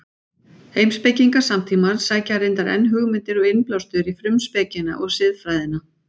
Heimspekingar samtímans sækja reyndar enn hugmyndir og innblástur í Frumspekina og Siðfræðina.